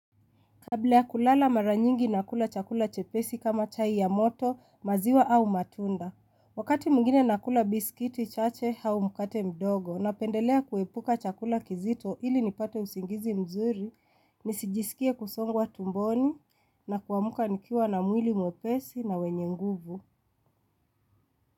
Kabla ya kulala mara nyingi nakula chakula chepesi kama chai ya moto, maziwa au matunda. Wakati mwingine nakula bisikiti chache au mkate mdogo, napendelea kuepuka chakula kizito ili nipate usingizi mzuri, nisijisikie kusongwa tumboni na kuamka nikiwa na mwili mwepesi na wenye nguvu.